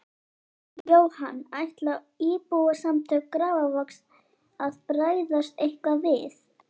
Jóhann: Ætla Íbúasamtök Grafarvogs að bregðast eitthvað við?